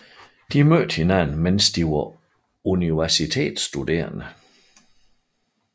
De mødte hinanden mens de var universitetsstuderende